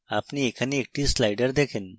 আপনি এখানে একটি slider দেখেন